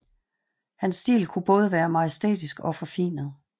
Hans stil kunne være både majestætisk og forfinet